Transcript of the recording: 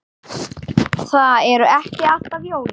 Það eru ekki alltaf jólin.